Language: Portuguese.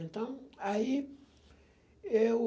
Então, aí eu...